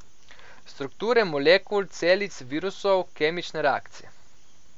Strukture molekul, celic, virusov, kemične reakcije.